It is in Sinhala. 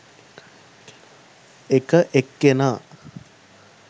එක එක්කෙනා